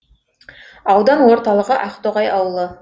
аудан орталығы ақтоғай ауылы